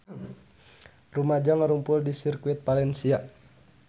Rumaja ngarumpul di Sirkuit Valencia